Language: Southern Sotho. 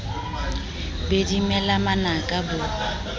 be di mela manaka bo